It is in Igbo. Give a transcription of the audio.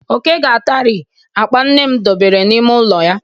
Oke ga-atari akpa nne m dobere n'ime ụlọ ya.